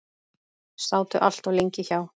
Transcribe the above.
Sátu allt of lengi hjá.